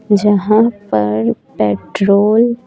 जहां पर पेट्रोल --